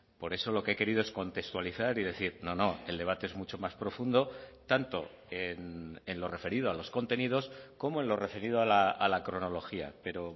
por eso lo que he querido es contextualizar y decir no no el debate es mucho más profundo tanto en lo referido a los contenidos como en lo referido a la cronología pero